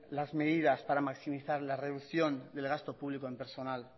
las medidas para maximizar la reducción del gasto público en personal